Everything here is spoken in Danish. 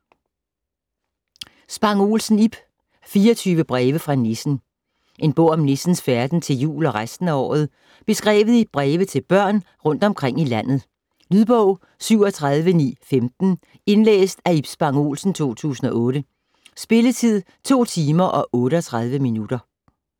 Spang Olsen, Ib: 24 breve fra nissen En bog om nissens færden til jul og resten af året, beskrevet i breve til børn rundt omkring i landet. Lydbog 37915 Indlæst af Ib Spang Olsen, 2008. Spilletid: 2 timer, 38 minutter.